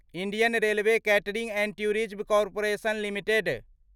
Indian railway catering and tourism corporation limited